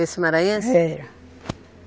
Esse maranhense? Era